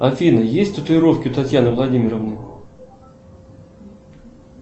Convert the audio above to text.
афина есть татуировки у татьяны владимировны